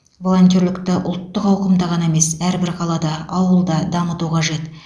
волонтерлікті ұлттық ауқымда ғана емес әрбір қалада ауылда дамыту қажет